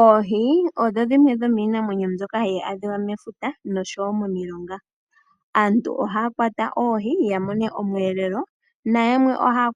Oohi odho iikokoloki namwenyo ndjono hayi adhika unene momafuta nosho woo momilonga. Aantu ohaa kwata oohi, opo ya kandule po omukaga momagumbo, naantu yamwe ohaa